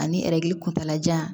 Ani kuntaala jan